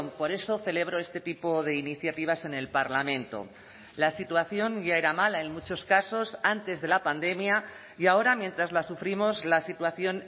por eso celebro este tipo de iniciativas en el parlamento la situación ya era mala en muchos casos antes de la pandemia y ahora mientras la sufrimos la situación